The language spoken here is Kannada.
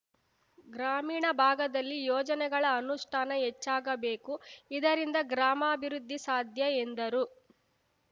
ಗ್ರಾಮೀಣ ಭಾಗದಲ್ಲಿ ಯೋಜನೆಗಳ ಅನುಷ್ಟಾನ ಹೆಚ್ಚಾಗಬೇಕು ಇದರಿಂದ ಗ್ರಾಮಾಭಿವೃದ್ಧಿ ಸಾಧ್ಯ ಎಂದರು